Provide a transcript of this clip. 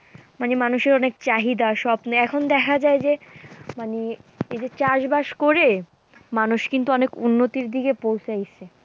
মানে মানুষের অনেক চাহিদা স্বপ্নে এখন দেখা যায় যে মানে এই যে চাষবাস করে মানুষ কিন্তু অনেক উন্নতির দিকে পৌঁছাইসে।